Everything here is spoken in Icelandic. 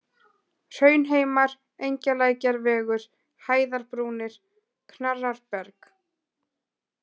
Hraunheimar, Engjalækjarvegur, Hæðarbrúnir, Knarrarberg